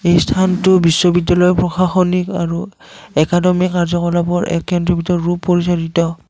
এই স্থানটো বিশ্ববিদ্যালয়ৰ প্ৰশাসনিক আৰু একাডেমী কাৰ্যকলাপৰ এক কেন্দ্ৰবিন্দু ৰূপ পৰিচালিত।